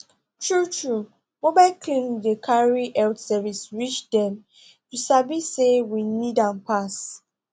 truetrue mobile clinic dey carry health service reach dem you sabi say wey need am pass